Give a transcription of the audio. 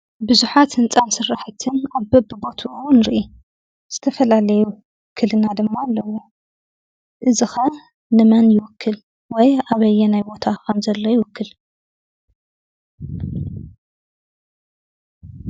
ብዙሓት ህንፃ ስራሕቲ ኣብ በቢቦትኡ ንሪኢ። ዝተፈላለዩ ውክልና ድማ ኣለዎ። እዚ ከ ንመን ይውክል ? ወይ ኣበየናይ ቦታ ከም ዘሎ ይውክል?